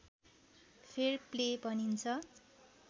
fair play भनिन्छ